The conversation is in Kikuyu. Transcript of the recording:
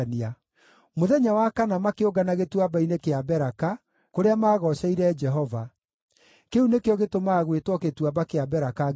Mũthenya wa kana makĩũngana Gĩtuamba-inĩ kĩa Beraka, kũrĩa maagooceire Jehova. Kĩu nĩkĩo gĩtũmaga gwĩtwo Gĩtuamba kĩa Beraka nginya ũmũthĩ.